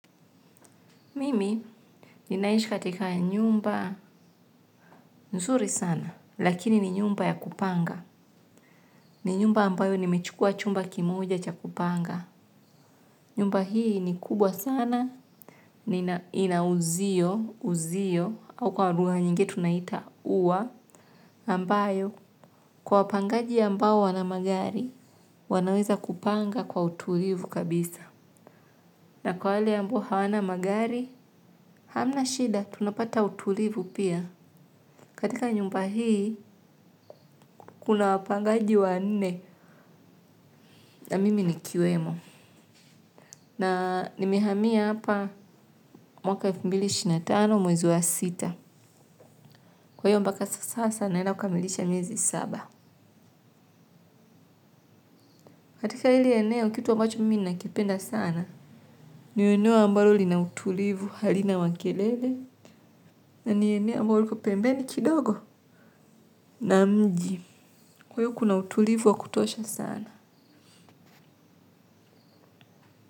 Mimi ninaishi katika nyumba nzuri sana, lakini ni nyumba ya kupanga. Ni nyumba ambayo nimechukua chumba kimoja cha kupanga nyumba hii ni kubwa sana na ina uzio uzio au kwa lugha nyingine tunaita ua ambayo, kwa wapangaji ambao wana magari, wanaweza kupanga kwa utulivu kabisa. Na kwa hali ambao hawana magari, hamna shida, tunapata utulivu pia. Katika nyumba hii, kuna wapangaji wa nne na mimi nikiwemo. Na nimehamia hapa mwaka elefu mbili ishirini na tano mwezi waa sita. Kwa hiyo mpaka sasa naenda kukamilisha miezi saba. Katika hili eneo, kitu ambacho mimi nakipenda sana. Ni eneo ambalo lina utulivu halina makelele. Na ni eneo ambalo liko pembeni kidogo. Na mji, kwa hiyo kuna utulivu wa kutosha sana.